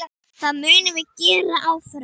Það munum við gera áfram.